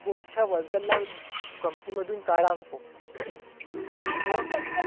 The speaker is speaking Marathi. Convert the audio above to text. कोणच्या worker ला company मधून काढा नको. आन दुसरं